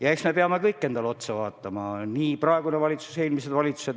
Ja eks me peame kõik endale otsa vaatama – nii praegune valitsus kui ka eelmised valitsused.